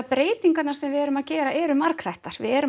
breytingarnar sem við erum að gera eru margþættar við erum